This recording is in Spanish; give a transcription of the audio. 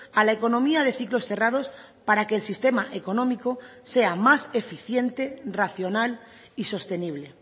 a la economía de ciclos cerrados para que el sistema económico sea más eficiente racional y sostenible